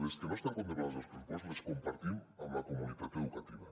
les que no estan contem·plades als pressupostos les compartim amb la comunitat educativa